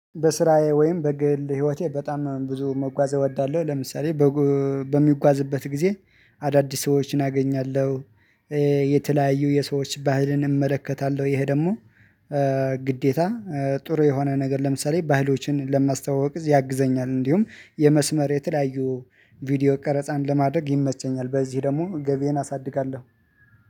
በስራዬ ወይም በግል ህይወቴ በጣም ብዙ መጓዝ እወዳለሁ። ለምሳሌ በምጓዝበት ጊዜ አዳዲስ ሰዎችን አገኛለሁ የተለያዩ የሰዎች ባህልን እመለከታለሁ። ይሄ ደግሞ ግዴታ ጥሩ የሆነ ነገር ለምሳሌ ባህሎችን ለማስታወቅ ያግዘኛል። እንዲሁም የመስመር የተለያዩ ቪዲዮ ቀረጻን ለማድረግ ይመቸኛል። በዚህ ደግሞ ገቢዬን አሳድጋለሁ